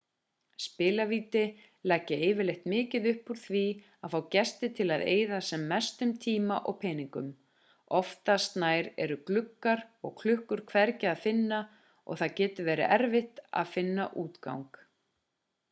spilavíti leggja yfirleitt mikið upp úr því að fá gesti til að eyða sem mestum tíma og peningum oftast nær eru gluggar og klukkur hvergi að finna og það getur verið erfitt að finna útgang